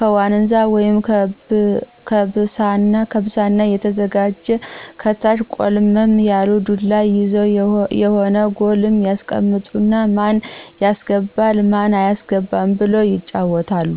ከዋንዛ ወይም ከብሳና የተዘጋጀ ከታች ቆልመም ያለ ዱላ ይዘው የሆነ ጎል ያስቀምጡና ማን ያስገባ ማን ያስገባ ብለው ይጫዎታሉ።